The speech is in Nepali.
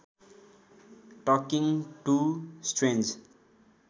talking to strange